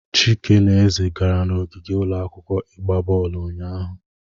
Chike na Eze gara n'ogige ụlọ akwụkwọ ịgba bọọlụ ụnyahụ.